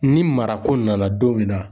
Ni mara ko nana don min na